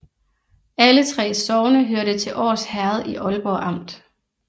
Alle 3 sogne hørte til Års Herred i Aalborg Amt